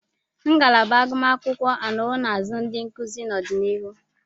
Ngalaba agụmakwụkwọ anọwo na-azụ ndị nkuzi n'ọdịnihu.